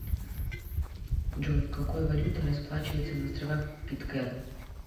джой какой валютой расплачиваются на островах питкэрн